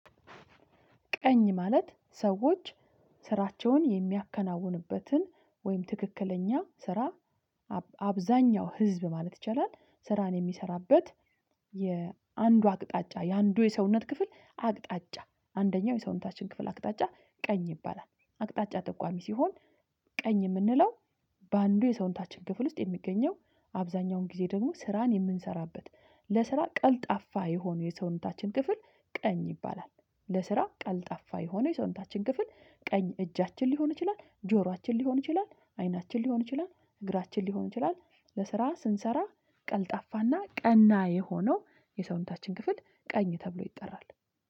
ቀኝ ማለት ሰዎች ስራቸውን የሚያከናውንበትን ወይም ትክክለኛ ስራ። አብዛኛው ህዝብ ማለት ይቻላል ስራን የሚሰራበት የአንዱ አቅጣጫ የአንዱ የሰውነት ክፍል አቅጣጫ አንደኛው የሰውነታችን ክፍል አቅጣጫ ቀኝ ይባላል አቅጣጫ ጠቋሚ ሲሆን ቀኝ የምንለው በአንዱ የሰውንታችን ክፍል ውስጥ የሚገኘው አብዛኛውን ጊዜ ደግሞ ስራን የምንሰራበት ለስራ ቀልጣፋ የሆኑ የሰውነታችን ክፍል። ቀኝ ይባላል ለስራ ቀልጣፋ የሆነ የሰውንታችን ክፍል ቀኝ እጃችን ሊሆን ይችላል ጆሯችን ሊሆን ይችላል አይናችን ሊሆን ይችላል። እግራችን ሊሆን ይችላል። ለስራ ስንሰራ ቀልጣፋና ቀና የሆነው የሰውነታችን ክፍል ቀኝ ተብሎ ይጠራል